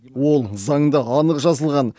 ол заңда анық жазылған